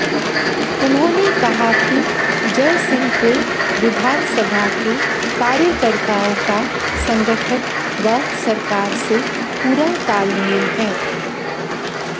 उन्होंने कहा कि जयसिंहपुर विधानसभा के कार्यकर्ताओं का संगठन व सरकार से पूरा तालमेल है